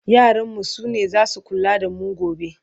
yaran mu sune zasu kula da mu gobe